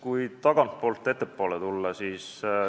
Tulen tagantpoolt ettepoole.